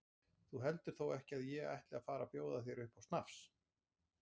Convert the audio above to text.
Þú heldur þó ekki að ég ætli að fara að bjóða þér upp á snafs?